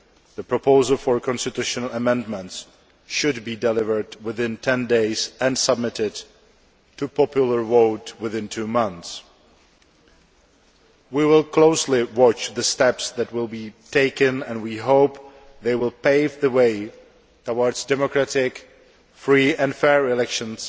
The proposal for a constitutional amendment should be delivered within ten days and submitted to popular vote within two months. We will closely watch the steps that are taken and we hope they will pave the way towards democratic, free and fair elections